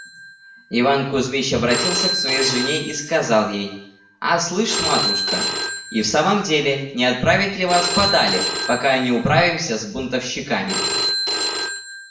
иван кузмич обратился к своей жене и сказал ей а слышь ты матушка и в самом деле не отправить ли вас подале пока не управимся с бунтовщиками